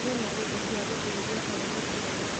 Ĩna indo cia gũteithia harĩ gũciara